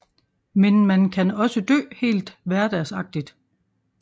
Men man kan også dø helt hverdagsagtigt